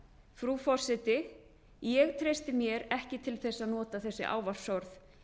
frú forseti ég treysti mér ekki til þess að nota þessi ávarpsorð